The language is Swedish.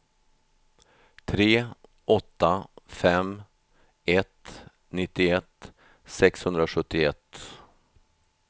tre åtta fem ett nittioett sexhundrasjuttioett